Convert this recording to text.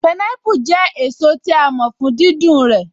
Pineapple jẹ́ èso tí a mọ̀ fún dídùn rẹ̀